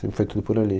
Sempre foi tudo por ali.